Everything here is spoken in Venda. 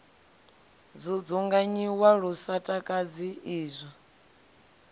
dzudzunganyiwa lu sa takadzi izwo